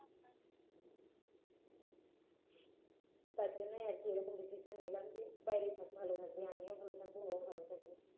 যার জন্যই আর কি এরকম decision নিলাম যে বাইরে থাক ভাল থাকবে আমিও ভাল থাকব ও ভাল থাকবে